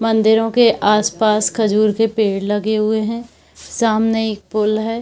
मंदिरों के आस-पास खजूर के पेड़ लगे हुए हैं सामने एक पुल है।